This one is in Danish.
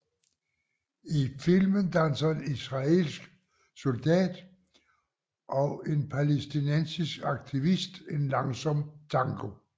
I filmen danser en israelsk soldat og en palæstinensisk aktivist en langsom tango